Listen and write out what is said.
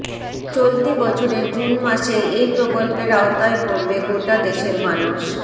চলতি বছরের জুন মাসেই এই প্রকল্পের আওতায় পড়বে গোটা দেশের মানুষ